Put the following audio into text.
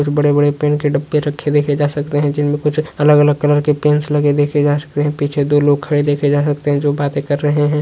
बड़े-बड़े पेन के डिब्बे देखे जा सकते है जिनमे कुछ अलग-अलग कलर के पेन्स लगे देखे जा सकते है पीछे दो लोग खड़े देखे जा सकते है जो बाते कर रहे है।